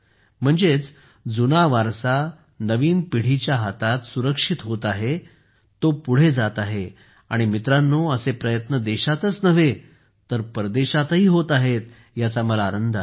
म्हणजेच जुना वारसा नवीन पिढीच्या हातात सुरक्षित होत आहे तो पुढे जात आहे आणि मित्रांनो असे प्रयत्न देशातच नव्हे तर परदेशातही होत आहेत याचा मला आनंद आहे